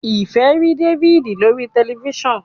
Ifẹ rí David lórí tẹlifísàn.